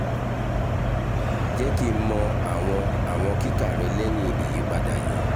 jẹ ki n mọ awọn awọn kika rẹ lẹhin iyipada yii